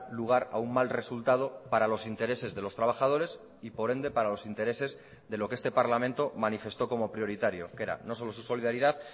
lugar a un mal resultado para los intereses de los trabajadores y por ende para los intereses de lo que este parlamento manifestó como prioritario que era no solo su solidaridad